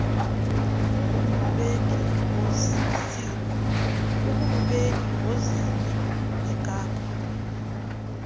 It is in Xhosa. akulubeki ngozini ingako